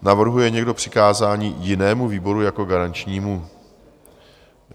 Navrhuje někdo přikázání jinému výboru jako garančnímu?